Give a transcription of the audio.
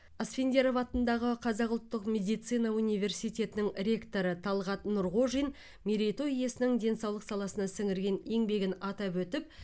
асфендияров атындағы қазақ ұлттық медицина университетінің ректоры талғат нұрғожин мерей той иесінің денсаулық саласына сіңірген еңбегін атап өтіп